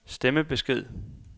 stemmebesked